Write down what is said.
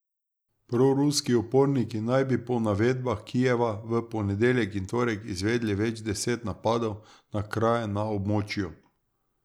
Proruski uporniki naj bi po navedbah Kijeva v ponedeljek in torek izvedli več deset napadov na kraje na območju.